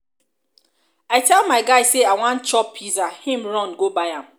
i tell my guy say i wan chop pizza he run go buy am.